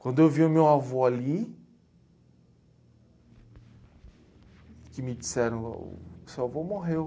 Quando eu vi o meu avô ali, que me disseram oh o seu avô morreu.